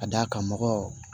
Ka d'a kan mɔgɔ